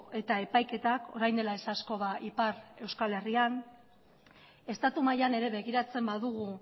eta epaiketak orain dela ez asko ipar euskal herrian estatu mailan ere begiratzen badugu